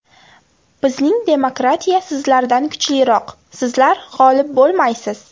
Bizning demokratiya sizlardan kuchliroq, sizlar g‘olib bo‘lmaysiz!